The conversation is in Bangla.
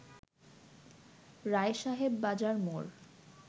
রায়সাহেব বাজার মোড়